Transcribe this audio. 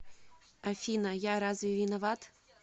афина я разве виноват